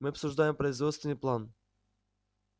мы обсуждаем производственный план